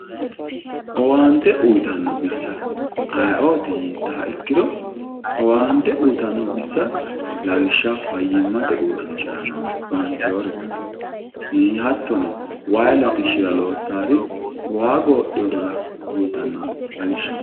owwante uyiitanno bissa ayeeooti yiittoha ikkiro owwante uyiitanno bissa lawishshaho fayyimmate owaante uurrinshara noori qaxarantinori no ii hattono wayi latishshira loossaari waa goodheerira uyiitanno lawishshaho.